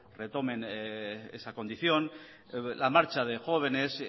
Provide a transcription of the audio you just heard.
retomen esa condición la marcha de jóvenes